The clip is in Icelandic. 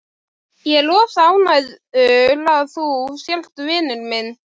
Ég er rosa ánægður að þú sért vinur minn.